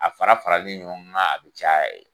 A fara faralen ɲɔgɔn kan a be caya